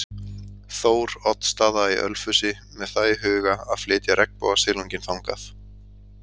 Þór- oddsstaða í Ölfusi með það í huga að flytja regnbogasilunginn þangað.